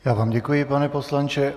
Já vám děkuji, pane poslanče.